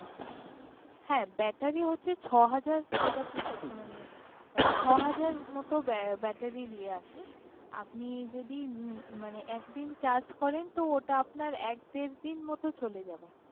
হ্যাঁ হ্যাঁ ব্যাটারি হচ্ছে ছ'হাজার মেগা পিক্সেল মানে ছ'হাজার মতো ব্যাটারির ইএ আছে আপনি যদি মানে একদিন চার্জ করেন তো ওটা আপনার এক দেড় দিন মতো চলে যাবে